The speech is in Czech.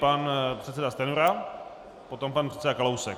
Pan předseda Stanjura, potom pan předseda Kalousek.